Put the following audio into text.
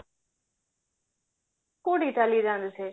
କୋଉଠି କି ଚାଲିକି ଯାଆନ୍ତି ସେ